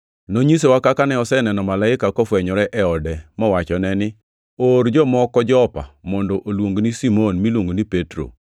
Nonyisowa kaka ne oseneno malaika kofwenyore e ode mowachone ni, ‘Or jomoko Jopa mondo oluongni Simon miluongo ni Petro.